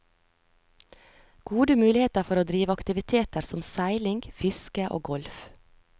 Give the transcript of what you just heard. Gode muligheter for å drive aktiviteter som seiling, fiske og golf.